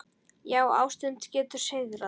Já, ástin getur sigrað!